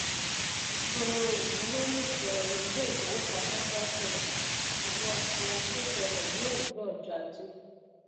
ètò ìmúlòlùfẹ iléifowopamọ dákẹ ìṣòwò àfura tó ṣẹlẹ ní òwúrọ ọjọ ajé